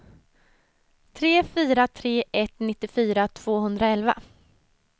tre fyra tre ett nittiofyra tvåhundraelva